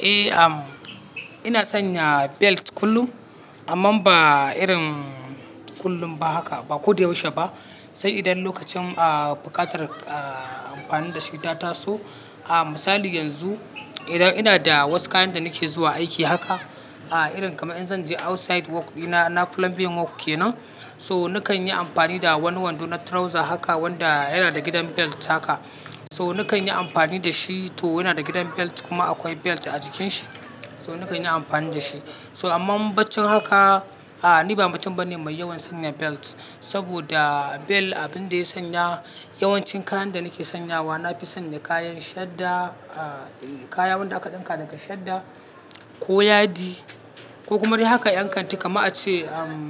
Eh, am ina sanya belt kullum amma ba irin kullum ba haka, ba ko da yaushe ba. Sai idan lokacin, ah, buƙatar, ah, amfani da shi ya taso. Ah, misali yanzu idan ina da wasu kayan da nake zuwa aiki haka. Ah, irin kamar in zan je outside work ina, na plumbing work kenan, so nakan yi amfani da wani wando na trouser haka wanda yana da gidan belt haka. So nakan yi amfani da shi to yana da gidan belt kuma akwai belt a cikin shi, so nakan yi amfani da shi. So amma bacci haka, ah ni ba mutum bane mai yawan sanya belt. Saboda belt abin da ya sanya yawancin kayan da nake sanyawa na fi sanya kayan shadda, ah, eh kaya wanda aka ɗinka daga shadda ko yadi ko kuma dai haka yankanti kamar a ce, am,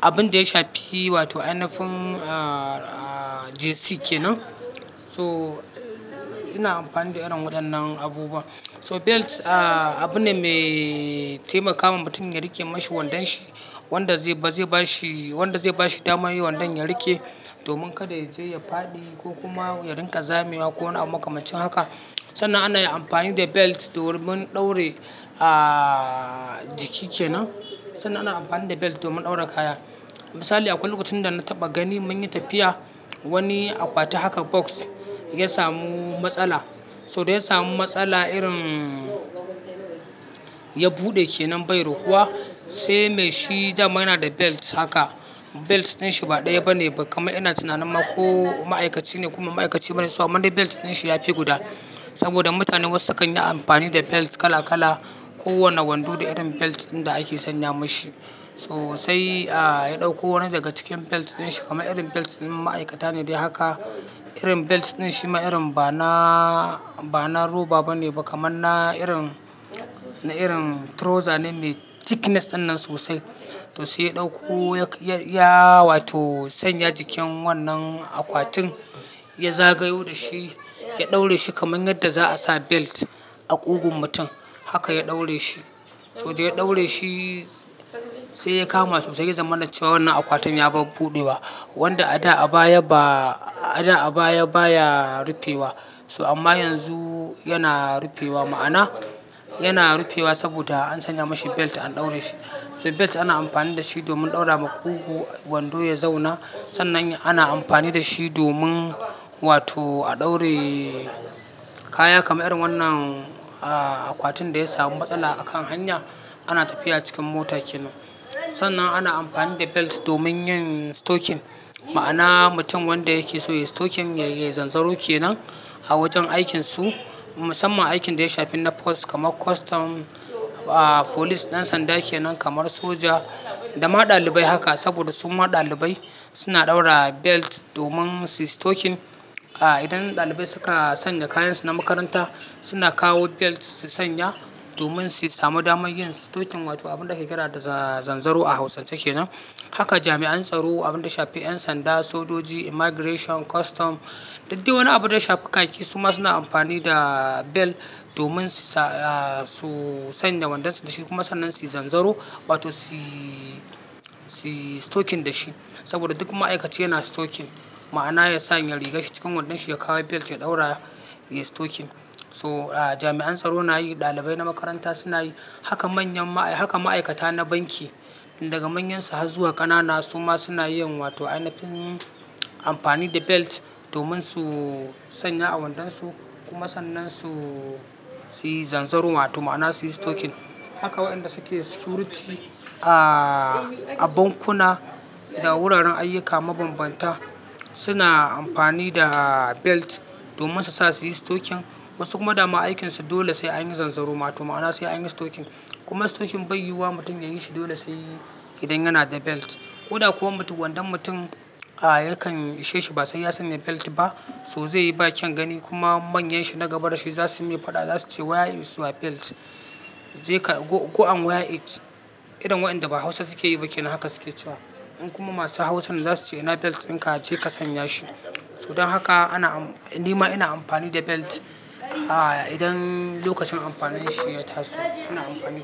abin da ya shafi wato ai nafin, ah, ah, jersey kenan. So ina amfani da irin waɗannan abubuwa. So belt, ah, abune mai taimakawa mutum ya riƙe mashi wandan shi. Wanda zai, zai bashi, wanda zai bashi dama yayi wandon ya riƙe domin kada ya je ya faɗi ko kuma ya rinƙa zamewa ko wani abu makamacin haka. Sannan ana yin amfani da belt domin ɗaure, ah, jiki kenan. Sannan ana amfani da belt domin ɗaura kaya. Misali akwai lokacin da na taɓa gani mun yi tafiya wani akwati haka box ya samu matsala. So da ya samu matsala irin ya buɗe kenan bai rufuwa sai me shi dama yana da belt haka. Belt din shi ba ɗaya bane kamar ina tunanin ma ko ma'aikaci ne kuma ma'aikaci bane. So amma dai belt din shi ya fi guda saboda mutane wasu sukan yi amfani da belt kala-kala. Ko wanne wando da irin belt din da ake sanya mashi. So sai, ah, ya ɗauko wani daga cikin belt din shi kamar irin belt din ma'aikata ne dai haka. Irin belt din shi ma irin bana, bana roba bane ba kamar na irin, na irin trouser ne me thickness dannan sosai. To sai ya ɗauko ya, ya wato sanya jikin wannan akwatin ya zagayo da shi, ya ɗaure shi kamar yadda za a sa belt a ƙugun mutum. Haka ya ɗaure shi. So da ya ɗaure shi sai ya kama sosai zamanance wannan akwatin ya bar buɗewa wanda a da a baya ba, a da a baya baya rufewa. So amma yanzu yana rufewa ma'ana yana rufewa saboda an sanya mashi belt an ɗaure shi. So belt ana amfani da shi domin ɗaura ma ƙugu wando ya zauna. Sannan ana amfani da shi domin wato a ɗaure kaya kamar irin wannan, ah, akwatin da ya samu matsala a kan hanya ana tafiya cikin mota kenan. Sannan ana amfani da belt domin yin stoking ma'ana mutum wanda yake so ya yi stoking yayi zanzaro kenan a wajen aikinsu. Musamman aikin da ya shafi na force kamar custom, ah, police ɗan sanda kenan kamar soja da ma ɗalibai haka saboda su ma ɗalibai suna ɗaura belt domin su yi stoking. Ah, idan ɗalibai suka sanya kayansu na makaranta suna kawo belt su sanya domin su samu damar yin stoking wato abin da ke da zanzaro a hausance kenan. Haka jami'an tsaro abin da shafi 'yan sanda, sojoji, immigration, custom, dak dai wannan abin da shafi khaki su ma suna amfani da belt domin su sa, ah, su sanya wandonsu da shi kuma sannan su yi zanzaro wato su yi, su yi stoking da shi. Saboda duk ma'aikaci yana stoking ma'ana ya sanya rigar shi cikin wandonsa ya kawo belt ya ɗaura ya yi stoking. So, ah, jami'an tsaro na yi, ɗalibai na makaranta suna yi. Haka manyan ma'ai, haka ma'aikata na banki daga manyansu har zuwa ƙanana su ma suna yin wato inafin amfani da belt domin su sanya a wandonsu kuma sannan su yi zanzaro ma'ana su yi stoking. Haka waɗanda suke security, ah, a bankuna da wuraren ayyuka mabanbanta suna amfani da belt domin su sa su yi stoking. Wasu kuma da ma aikinsu dole sai an yi zanzaro ma'ana sai an yi stoking. Kuma stoking bai yi wa mutum yayi shi dole sai idan yana da belt. Ko da kuwa wando mutum, ah, yakan ishe shi ba sai ya sanya belt ba so zai yi bakin gani kuma manyan shi na gaba da shi za su yi faɗa za su ce "Where is your belt?" Zai ka go, "go and Wear it?" Irin waɗanda ba Hausa suke yi ba kenan haka suke cewa. Kuma masu Hausan za su ce "ina belt din ka je ka sanya shi." So don haka ana am, ni ma ina amfani da belt, ah, idan lokacin amfanin shi ya taso ana amfani da shi.